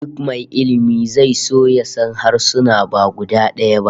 Duk mai ilmi zai so ya san harsuna ba guda daya ba